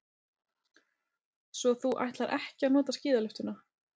Svo þú ætlar ekki að nota skíðalyftuna.